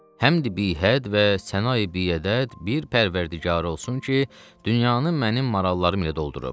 Həmd bihəd və sənayi biədəd bir pərvərdigarı olsun ki, dünyanı mənim marallarım ilə doldurub.